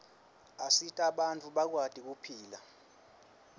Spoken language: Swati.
asita bantfu bakwati kuphila